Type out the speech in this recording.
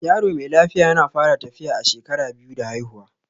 Yaro mai lafiya yana fara tafiya a shekara biyu da haifuwa